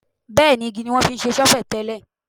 Bẹ́ẹ̀ ni, igi ní wọ́n fi se ṣọ́fẹ̀ tẹ́lẹ̀.